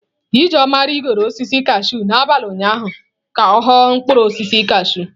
Ijeoma rigoro osisi kashụụ n'abalị ụnyaahụ ka ọ ghọ mkpụrụ osisi kashụụ.